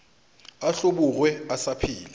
a hlobogwe a sa phela